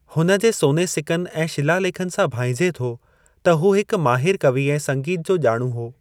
हुन जे सोने सिकनि ऐं शिला लेखनि सां भांइजे थो त हू हिकु माहिरु कवी ऐं संगीत जो ॼाणूं हो।